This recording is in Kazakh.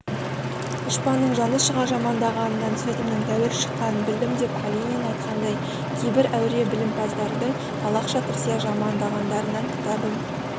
дұшпанның жаны шыға жамандағанынан сөзімнің тәуір шыққанын білдім деп калинин айтқандай кейбір әуре білімпаздардың талақша тырсия жамандағандарынан кітабым